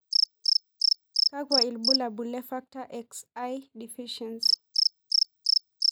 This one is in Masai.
Kakwa ibulabul le Factor XI deficiency?